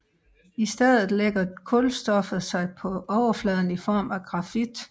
I stedet lægger kulstoffet sig på overfladen i form af grafit